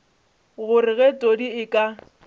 gore ge todi a ka